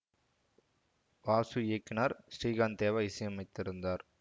வாசு இயக்கினார் ஸ்ரீகாந்த் தேவா இசையமைத்திருந்தார்